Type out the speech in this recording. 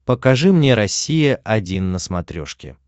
покажи мне россия один на смотрешке